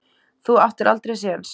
Þú áttir aldrei séns